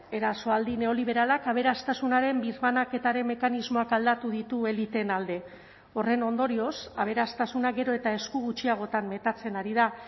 erasoaldi neoliberalak aberastasunaren birbanaketaren mekanismoak aldatu ditu eliteen alde horren ondorioz aberastasuna gero eta esku gutxiagotan metatzen ari da